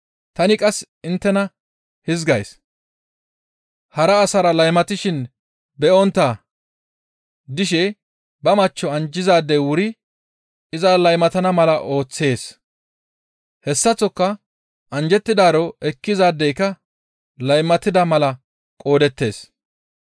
Tani qasse inttena hizgays, hara asara laymatishin be7ontta dishe ba machcho anjjizaadey wuri iza laymatana mala ooththees. Hessaththoka anjjettidaaro ekkizaadeyka laymatida mala qoodettees.